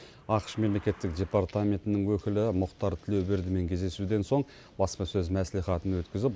ақш мемлекеттік департаментінің өкілі мұхтар тілеубердімен кездесуден соң баспасөз мәслихатын өткізіп